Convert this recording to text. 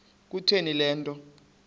kutheni le nto